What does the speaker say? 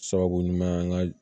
Sababu ɲuman an ka